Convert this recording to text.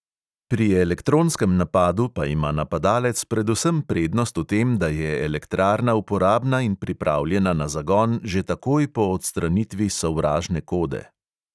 Pri elektronskem napadu pa ima napadalec predvsem prednost v tem, da je elektrarna uporabna in pripravljena na zagon že takoj po odstranitvi sovražne kode.